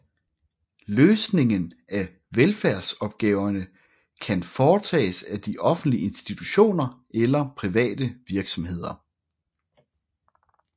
Løsningen af velfærdsopgaverne kan foretages af de offentlige institutioner eller private virksomheder